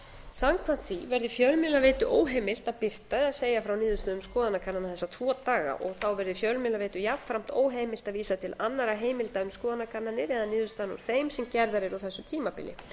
samkvæmt því verði fjölmiðlaveitu óheimilt að birta eða segja frá niðurstöðum skoðanakannana þessa tvo daga þá verði fjölmiðlaveitu jafnframt óheimilt að vísa til annarra heimilda um skoðanakannanir eða niðurstaðna úr þeim sem gerðar eru á þessu tímabili